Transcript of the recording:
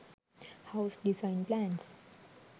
house design plans